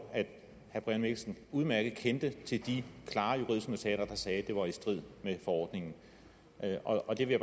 at herre brian mikkelsen udmærket kendte til de klare juridiske notater der sagde at det var i strid med forordningen og det vil